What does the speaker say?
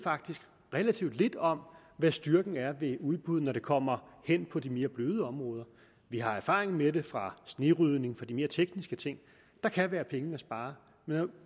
relativt lidt om hvad styrken er ved udbud når det kommer hen på de mere bløde områder vi har erfaringer med det fra snerydning fra de mere tekniske ting der kan være penge at spare men når